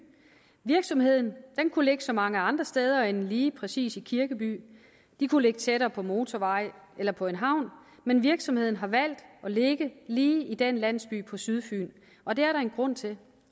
virksomheden kunne ligge så mange andre steder end lige præcis i kirkeby den kunne ligge tættere på motorvej eller på en havn men virksomheden har valgt at ligge lige i den landsby på sydfyn og det er der en grund til